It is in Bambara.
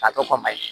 A tɔ kɔmayi